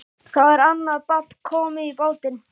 Þá er annað babb komið í bátinn.